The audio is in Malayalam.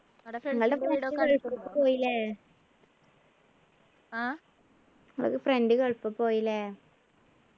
പോയി ല്ലേ നിങ്ങള്ടെ friend ഗൾഫ് പോയി ല്ലേ